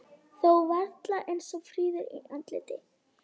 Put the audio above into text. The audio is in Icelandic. Þó varla eins fríður í andliti.